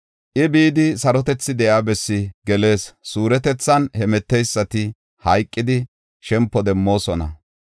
I, bidi sarotethi de7iya bessi gelees; suuretethan hemeteysati hayqidi, shempo demmoosona.